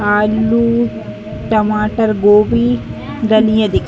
आलू टमाटर गोबी धानिया दिख --